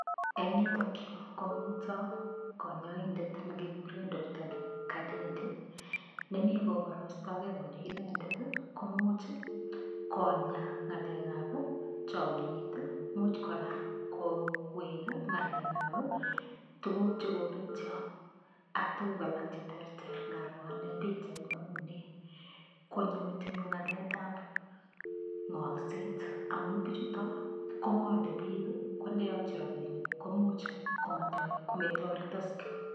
Eng' yutokyu komito konyoindet nekekure Doctor kadede nemi koborostogei kole inendet komuuch Konya ng'alekab chomiyet muuch kora kowek ng'alekab tukuk chekobetyo ak tukuk alak cheterter ngaro ane pikchait neu ni konyo metinyu ng'alekab ng'olset amun bichuto kong'olei biik kondeyokchi robinik komuuch kometoretoske